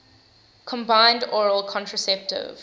combined oral contraceptive